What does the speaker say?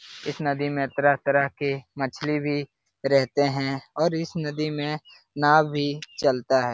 इस नदी में तरह-तरह के मछली भी रहते हैं और इस नदी में नॉव भी चलता है।